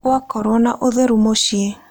Gwakorũo na ũtheru mũciĩ.